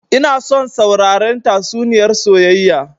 Ina son sauraren tatsuniyar soyayya